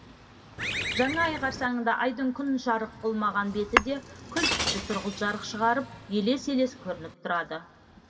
жаңа ай қарсаңында айдың күн жарық қылмаған беті де күлтүсті сұрғылт жарық шығарып елес елес көрініп тұрады